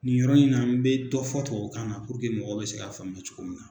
Nin yɔrɔ in na n be dɔ fɔ tuwawukan na mɔgɔ bɛ se k'a faamuya cogo min na.